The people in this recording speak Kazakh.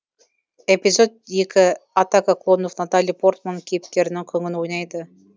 эпизод екі атака клонов натали портман кейіпкерінің күңін ойнайды